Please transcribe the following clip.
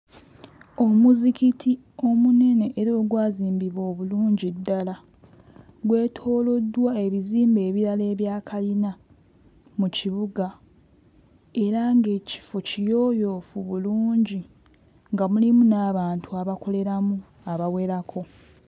Omuzikiti omunene era ogwazimbibwa obulungi ddala, gwetooloddwa ebizimbe ebirala ebya kalina mu kibuga era ng'ekifo kiyooyoofu bulungi nga mulimu n'abantu abakoleramu abawerako.